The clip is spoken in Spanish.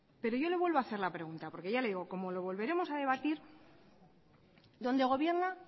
pero yo le vuelvo a hacer la pregunta porque ya le digo como lo volveremos a debatir donde gobierna